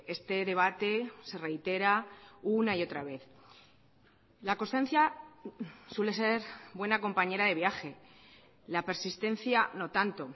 este debate se reitera una y otra vez la constancia suele ser buena compañera de viaje la persistencia no tanto